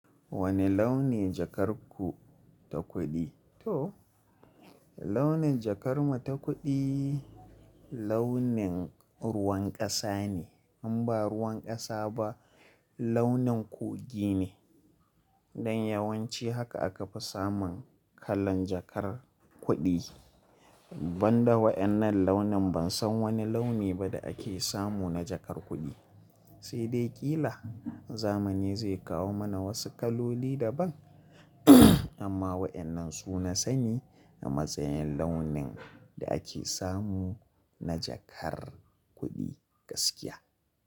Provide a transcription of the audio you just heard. Wane launi jakar ku ta kuɗi? To launin jakar mu ta kuɗi launin ruwan ƙasa ne, in ba ruwan ƙasa ba launin kogin ne. Don yawanci haka aka fi samun kalan jakar kuɗi. Ban da waɗannan launin ban san wani launi ba da ake samu na jakar kuɗi. Sai dai ƙila zamani zai kawo mana wasu kaloli daban, amma waɗannan su na sani a matsayin launin da ake samu na jakar kuɗi gaskiya.